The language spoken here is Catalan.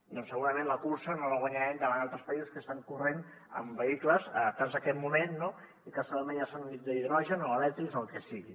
doncs segurament la cursa no la guanyarem davant altres països que estan corrent amb vehicles adaptats a aquest moment i que segurament ja són d’hidrogen o elèctrics o el que sigui